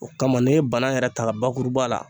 O kama n'i ye bana yɛrɛ ta ka bakuruba la